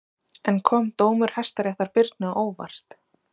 En kom dómur Hæstaréttar Birni á óvart?